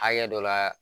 Hakɛ dɔ la